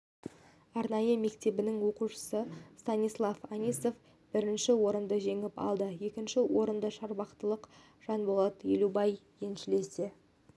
арнайы мектебінің оқушысы станислав анисов бірінші орынды жеңіп алды екінші орынды шарбақтылық жанболат елубай еншілесе